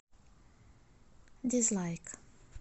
дизлайк